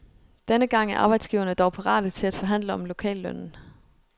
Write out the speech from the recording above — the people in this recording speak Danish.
Denne gang er arbejdsgiverne dog parate til at forhandle om lokallønnen.